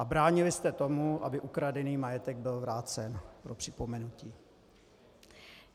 A bránili jste tomu, aby ukradený majetek byl vrácen - pro připomenutí.